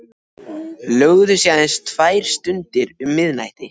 Lögðu sig aðeins tvær stundir um miðnættið.